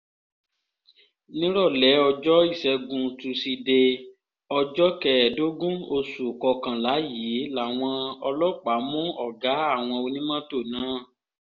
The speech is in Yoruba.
nírọ̀lẹ́ ọjọ́ ìṣẹ́gun tusidee ọjọ́ kẹẹ̀ẹ́dógún oṣù kọkànlá yìí làwọn ọlọ́pàá mú ọ̀gá àwọn onímọ́tò náà